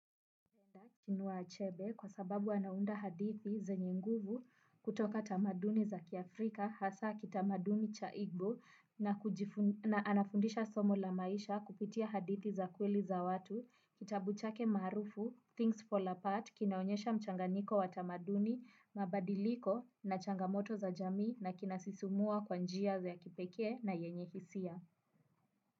Chinua achebe kwa sababu anaunda hadithi zenye nguvu kutoka tamaduni za kiafrika hasa kitamaduni cha igbo na anafundisha somo la maisha kupitia hadithi za kweli za watu kitabu chake marufu things fall apart kinaonyesha mchanganiko wa tamaduni mabadiliko na changamoto za jamii na kinasisumua kwanjia za ya kipeke na yenye hisia.